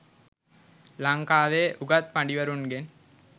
ලංකාවේ උගත් පඬිවරුන්ගෙන්